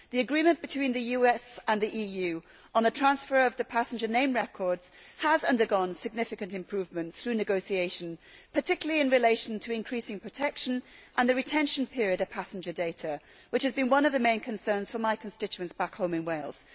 The agreement between the US and the EU on the transfer of passenger name records has undergone significant improvement through negotiations, particularly in relation to increasing protection and to the retention period of passenger data, which has been one of the main concerns for my constituents back home in Wales.